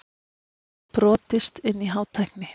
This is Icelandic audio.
Brotist inn í Hátækni